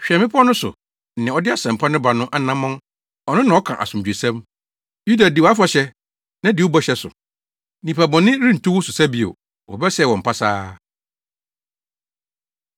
Hwɛ mmepɔw no so, nea ɔde asɛmpa no ba no anammɔn ɔno na ɔka asomdwoesɛm! Yuda di wʼafahyɛ na di wɔ bɔhyɛ so. Nnipabɔne rentu wo so sa bio; Wɔbɛsɛe wɔn pasaa.